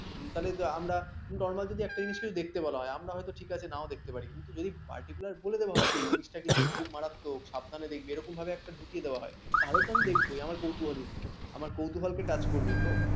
তাহলে আমরা normal যদি একটা জিনিস কিছু দেখতে বলা হয় আমরা হয়তো ঠিক আছে নাও দেখতে পারি কিন্তু যদি particular বলে দেওয়া হয় যে এই জিনিসটা কিন্তু খুব মারাত্মক সাবধানে দেখবে এরকম ভাবে যদি একটা ঢুকিয়ে দেওয়া হয় তাহলে তো আমি দেখবই আমার কৌতূহলি হবে আমার কৌতূহলকে touch করবে তো